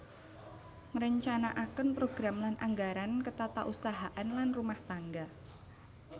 Ngrencanakaken program lan anggaran ketatausahaan lan rumah tangga